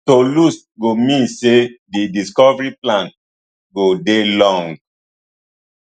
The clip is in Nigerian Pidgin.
to lose go mean say di recovery plan go dey long